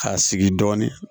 K'a sigi dɔɔni